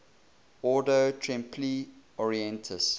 ordo templi orientis